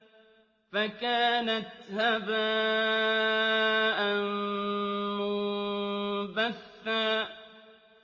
فَكَانَتْ هَبَاءً مُّنبَثًّا